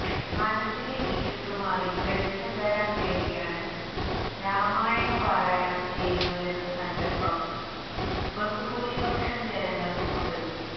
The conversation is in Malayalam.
മനസ്സിലെ ഇരുട്ടുമാറി വെളിച്ചം വരാന് വേണ്ടിയാണ് രാമായണ പാരായണം ചെയ്യുന്നതെന്ന സങ്കല്പം ബഹുഭൂരിപക്ഷം ജനങ്ങള്ക്കുമുണ്ട്